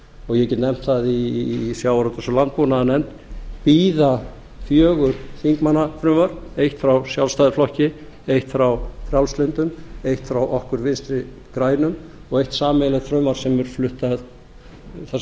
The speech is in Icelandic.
og ég get nefnt það í sjávarútvegs og landbúnaðarnefnd bíða fjögur þingmannafrumvörp eitt frá sjálfstæðisflokki eitt frá frjálslyndum eitt frá okkur vinstri grænum og eitt sameiginlegt frumvarp þar